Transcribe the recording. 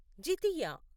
జీతీయ